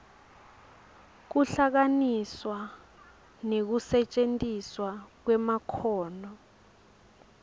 kuhlanganiswa nekusetjentiswa kwemakhono